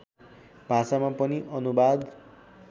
भाषामा पनि अनुवाद